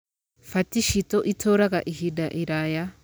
Fati citũ itũũraga ihinda iraya.